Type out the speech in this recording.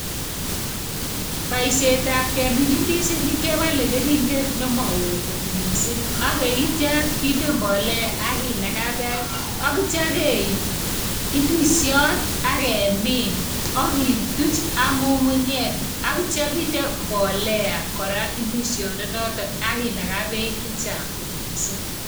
Baisyet ap kemin ndisinik ke pale keringet ne mao kot mising'. Kinde mbolea aki nakaa peek ak kityo keip ndisiot ake min, aki tuch ak ng'ung'unyek, ak inde mbolea kora ndisionoto ak inde peek che chang mising'.